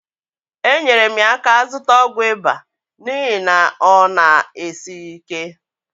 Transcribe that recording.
enyere m ya aka zụta ọgwụ ịba n'ihi na ọ na-esighi ike.